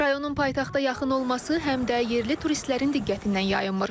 Rayonun paytaxta yaxın olması həm də yerli turistlərin diqqətindən yayınmır.